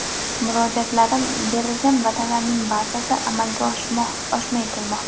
Murojaatlarim, berilgan va’dalarning barchasi amalga oshmay kelmoqda.